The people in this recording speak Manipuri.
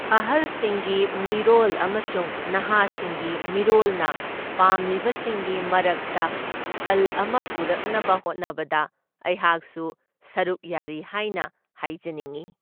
ꯑꯍꯜꯁꯤꯡꯒꯤ ꯃꯤꯔꯣꯜ ꯑꯃꯁꯨꯡ ꯅꯍꯥꯁꯤꯡꯒꯤ ꯃꯤꯔꯣꯜꯅ ꯄꯥꯝꯂꯤꯕꯁꯤꯡꯒꯤ ꯃꯔꯛꯇ ꯈꯜ ꯑꯃ ꯄꯨꯔꯛꯅꯕ ꯍꯣꯠꯅꯕꯗ ꯑꯩꯍꯥꯛꯁꯨ ꯁꯔꯨꯛ ꯌꯥꯔꯤ ꯍꯥꯏꯅ ꯍꯥꯏꯖꯅꯤꯡꯢ꯫